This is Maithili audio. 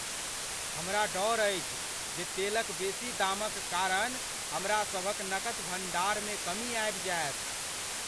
हमरा डर अछि जे तेलक बेसी दामक कारण हमरासभक नकद भंडारमे कमी आबि जायत।